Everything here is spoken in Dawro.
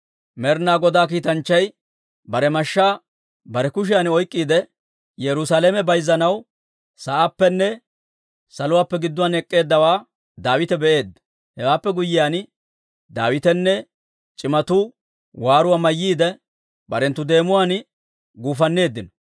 Med'inaa Godaa Kiitanchchay bare mashshaa bare kushiyan oyk'k'iide, Yerusaalame bayzanaw sa'aappenne saluwaappe gidduwaan ek'k'eeddawaa Daawite be'eedda. Hewaappe guyyiyaan, Daawitenne c'imatuu waaruwaa mayyiide, barenttu deemuwaan guufanneeddino.